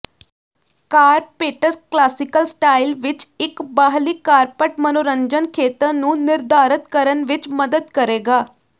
carpets classical style ਵਿਚ ਇਕ ਬਾਹਰੀ ਕਾਰਪਟ ਮਨੋਰੰਜਨ ਖੇਤਰ ਨੂੰ ਨਿਰਧਾਰਤ ਕਰਨ ਵਿਚ ਮਦਦ ਕਰੇਗਾ